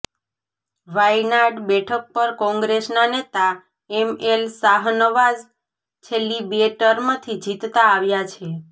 વાયનાડ બેઠક પર કોંગ્રેસના નેતા એમએલ શાહનવાઝ છેલ્લી બે ટર્મથી જીતતા આવ્યા છે